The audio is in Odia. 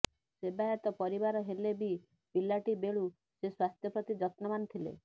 ସେବାୟତ ପରିବାର ହେଲେ ବି ପିଲାଟି ବେଳୁ ସେ ସ୍ୱାସ୍ଥ୍ୟ ପ୍ରତି ଯତ୍ନବାନ ଥିଲେ